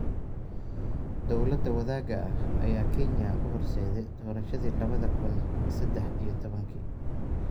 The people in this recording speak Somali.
Dowladda wadaaga ah ayaa Kenya u horseeday doorashadii lawada kuun sadex iyo toban-kii.